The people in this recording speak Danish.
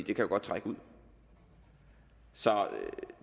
jo godt trække ud så